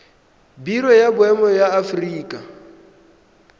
biro ya boemo ya aforika